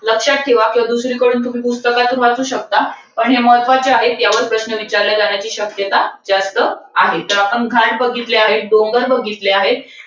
लक्षात ठेवा. किंवा दुसरीकडून तुम्ही पुस्तकातून वाचू शकता. पण हे महत्वाचे आहे. याच्यावर प्रश्न विचारले जाण्याची शक्यता जास्त आहे. तर आपण घाट बघितले आहेत. डोंगर बघितले आहेत.